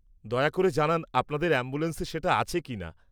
দয়া করে জানান আপনাদের অ্যাম্বুলেন্সে সেটা আছে কিনা।